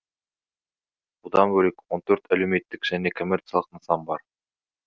бұдан бөлек он төрт әлеуметтік және коммерциялық нысан бар